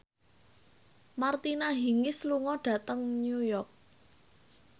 Martina Hingis lunga dhateng New York